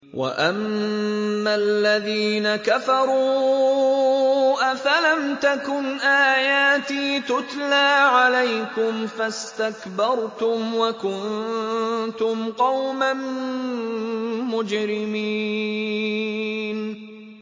وَأَمَّا الَّذِينَ كَفَرُوا أَفَلَمْ تَكُنْ آيَاتِي تُتْلَىٰ عَلَيْكُمْ فَاسْتَكْبَرْتُمْ وَكُنتُمْ قَوْمًا مُّجْرِمِينَ